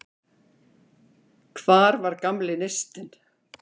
Hvar var gamli neistinn?